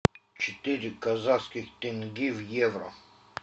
четыре казахских тенге в евро